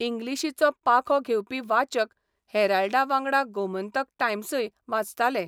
इंग्लिशीचो पाखो घेवपी वाचक हेराल्डावांगडा गोमंतक टायम्सय वाचताले.